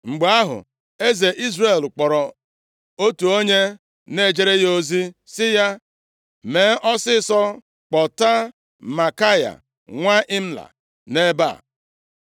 Mgbe ahụ, eze Izrel kpọrọ otu onye na-ejere ya ozi sị ya, “Mee ọsịịsọ kpọta Maikaya nwa Imla nʼebe a.”